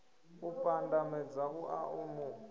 u pandamedza uḽa o mu